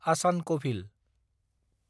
आचान कभिल